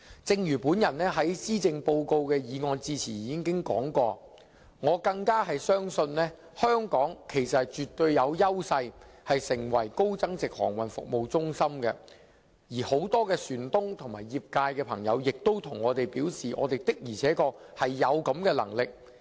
正如我在施政報告的致謝議案辯論時所說，我絕對相信香港有優勢成為高增值航運服務中心，而很多船東和業界朋友亦表示，我們的確是有能力的。